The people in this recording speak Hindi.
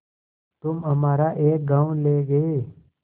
तुम हमारा एक गॉँव ले गये